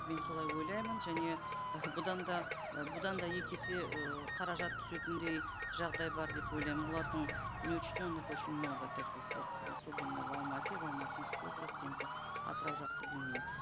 мен солай ойлаймын және ы бұдан да ы бұдан да екі есе ыыы қаражат түсетіндей жағдай бар деп ойлаймын олардың неучтенных очень много таких вот особенно в алмате в алматинской области енді атырау жақты білмеймін